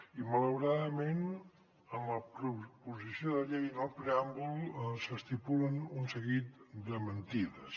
i malauradament en la proposició de llei en el preàmbul s’estipulen un seguit de mentides